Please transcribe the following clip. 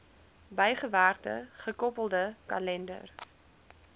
bygewerkte gekoppelde kalender